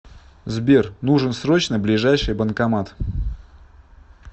сбер нужен срочно ближайший банкомат